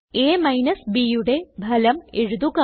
A minus Bയുടെ ഫലം എഴുതുക